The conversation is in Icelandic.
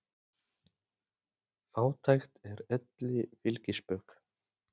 Fátækt er elli fylgispök.